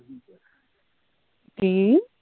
ਕੀ